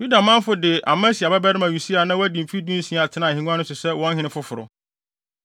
Yuda manfo de Amasia babarima Usia a na wadi mfe dunsia tenaa ahengua so sɛ wɔn hene foforo.